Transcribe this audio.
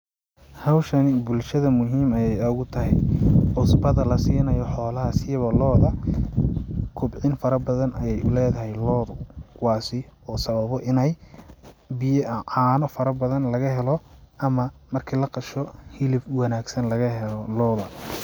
Howshani bulshada muhiim ayee ugu tahay, cusbada lasiinayo xoolaha siiba lo'da, kobcin farabadan ayee uleedahay lo'du, waa si uu sababo ineey biyaha caano farabadan laga helo ama marki laqasho hilib wanaagsan laga helo lo'da.